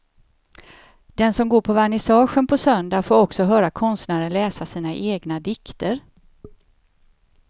Den som går på vernissagen på söndag får också höra konstnären läsa sina egna dikter.